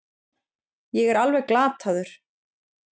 Ég er alveg glataður.